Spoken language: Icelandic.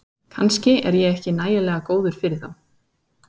Kannski er ég ekki nægilega góður fyrir þá